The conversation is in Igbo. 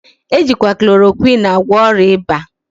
Ejikwa chloroquine agwo oria iba